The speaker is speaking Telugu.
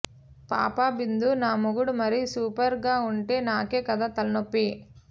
పాపా బిందు నా మొగుడు మరి సూపర్ గా ఉంటే నాకే కదా తలనొప్పి